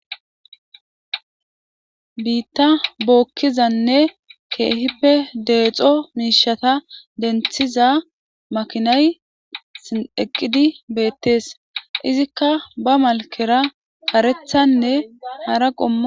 Biitta bookizane keehippe deexo miishata denthiza makinay eqqidi beetees. Izikia be malkera karethanne hara qommoko.